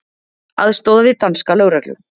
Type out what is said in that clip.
Aðstoðaði danska lögreglu